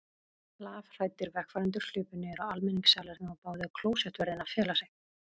Lafhræddir vegfarendur hlupu niður á almenningssalernið og báðu klósettvörðinn að fela sig.